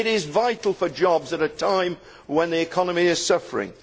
It is vital for jobs at a time when the economy is suffering.